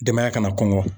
Denbaya kana kɔngɔ